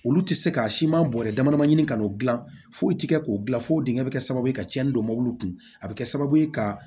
Olu tɛ se ka siman bɔrɛ damadamanin ɲini ka n'o gilan foyi tɛ kɛ k'o dilan fo digɛn bɛ kɛ sababu ye ka tiɲɛni don mobiliw kun a bɛ kɛ sababu ye ka